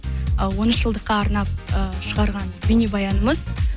і он үш жылдыққа арнап і шығарған бейнебаянымыз